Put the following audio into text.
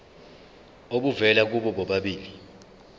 obuvela kubo bobabili